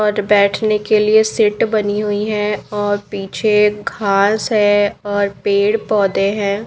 और बेठने के लिए सिट बनी हुइ है और पीछे घास है और पेड़ पौधे हैं।